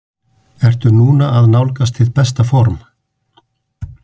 Ertu núna að nálgast þitt besta form?